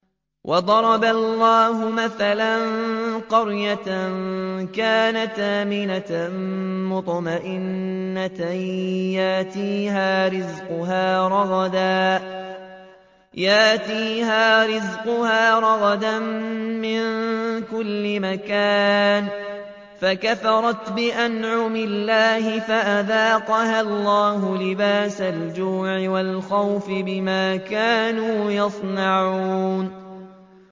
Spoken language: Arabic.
وَضَرَبَ اللَّهُ مَثَلًا قَرْيَةً كَانَتْ آمِنَةً مُّطْمَئِنَّةً يَأْتِيهَا رِزْقُهَا رَغَدًا مِّن كُلِّ مَكَانٍ فَكَفَرَتْ بِأَنْعُمِ اللَّهِ فَأَذَاقَهَا اللَّهُ لِبَاسَ الْجُوعِ وَالْخَوْفِ بِمَا كَانُوا يَصْنَعُونَ